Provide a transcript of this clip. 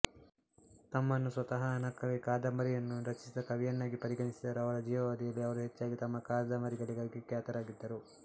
ತಮ್ಮನ್ನು ಸ್ವತಃ ಹಣಕ್ಕಾಗಿ ಕಾದಂಬರಿಗಳನ್ನು ರಚಿಸಿದ ಕವಿಯನ್ನಾಗಿ ಪರಿಗಣಿಸಿದರೂ ಅವರ ಜೀವಾವಧಿಯಲ್ಲಿ ಅವರು ಹೆಚ್ಚಾಗಿ ತಮ್ಮ ಕಾದಂಬರಿಗಳಿಗಾಗಿ ಖ್ಯಾತರಾಗಿದ್ದರು